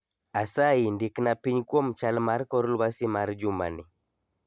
Asayi ndikna piny kuom chal mar kor lwasi mar jumani